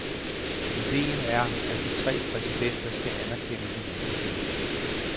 Ideen er, at de tre præsidenter skal anerkende hinandens lande.